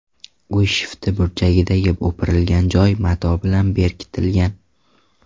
Uy shifti burchagidagi o‘pirilgan joy mato bilan berkitilgan.